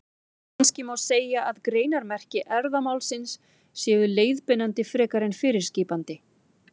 Kannski má segja að greinarmerki erfðamálsins séu leiðbeinandi frekar en fyrirskipandi.